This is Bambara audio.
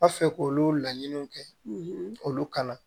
A fɛ k'olu laɲiniw kɛ olu kana